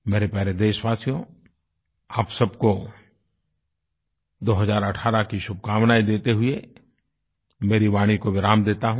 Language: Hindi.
मेरे प्यारे देशवासियो आप सब को 2018 की शुभकामनायें देते हुए मेरी वाणी को विराम देता हूँ